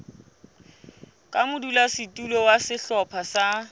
ka modulasetulo wa sehlopha sa